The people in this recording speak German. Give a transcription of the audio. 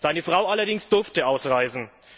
Seine Frau allerdings durfte ausreisen.